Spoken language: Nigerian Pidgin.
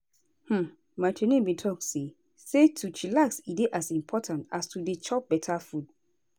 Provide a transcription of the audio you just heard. hmm my trainer bin talk say say to chillax e dey as important as to dey chop beta food.